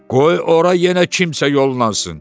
Qoy ora yenə kimsə yollansın.